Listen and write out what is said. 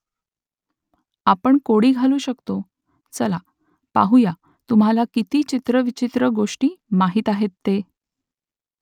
आपण कोडी घालू शकतो . चला , पाहुया तुम्हाला किती चित्रविचित्र गोष्टी माहीत आहेत ते !